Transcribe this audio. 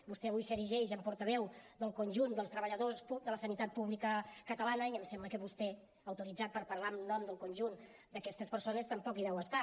vostè avui s’erigeix en portaveu del conjunt dels treballadors de la sanitat pública catalana i em sembla que vostè autoritzat per parlar en nom del conjunt d’aquestes persones tampoc hi deu estar